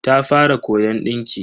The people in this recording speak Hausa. Ta fara koyon dinki.